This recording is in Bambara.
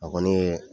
A kɔni ye